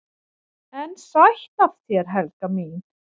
"""EN SÆTT AF ÞÉR, HELGA MÍN!"""